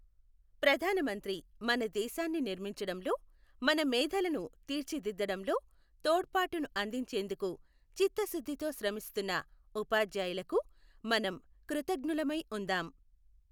ప్రధాన మంత్రి మన దేశాన్ని నిర్మించడంలో, మన మేధలను తీర్చిదిద్దడంలో తోడ్పాటును అందించేందుకు చిత్తశుద్ధితో శ్రమిస్తున్న ఉపాధ్యాయులకు మనం కృతజ్ఞులమై ఉందాం.